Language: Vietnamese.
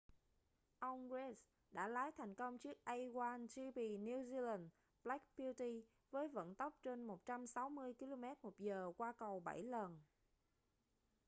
ông reid đã lái thành công chiếc a1gp new zealand black beauty với vận tốc trên 160km/h qua cầu bảy lần